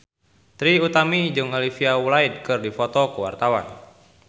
Trie Utami jeung Olivia Wilde keur dipoto ku wartawan